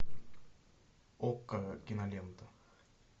окко кинолента